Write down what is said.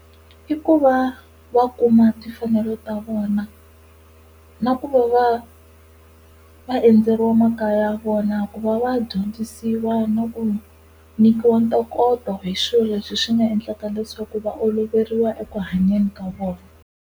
I ku va va kuma timfanelo ta vona na ku va va va endzeriwa makaya ya vona ku va va dyondzisiwa na ku nyikiwa ntokoto hi swilo leswi swi nga endlaka leswaku va oloveriwa ekuhanyeni ka vona.